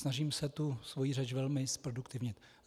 Snažím se tu svoji řeč velmi zproduktivnit.